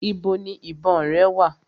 Ibo ni ìbọn rẹ wà?